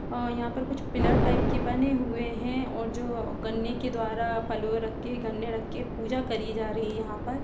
अ यहाँं पर कुछ पिलर टाइप के बने हुए हैं और जो गन्ने के द्वारा फलो रख के गन्ने रख के पूजा करी जा रही है यहाँ पर।